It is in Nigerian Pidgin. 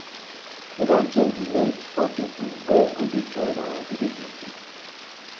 we don change the age for people wey go dey join our village meeting